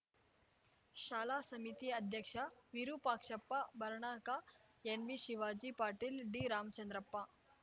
ಶಾಲಾ ಸಮಿತಿ ಅಧ್ಯಕ್ಷ ವಿರುಪಾಕ್ಷಪ್ಪ ಬರ್ಣಕಾ ಎನ್‌ಬಿ ಶಿವಾಜಿ ಪಾಟೀಲ್‌ ಡಿರಾಮಚಂದ್ರಪ್ಪ